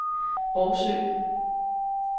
Rougsø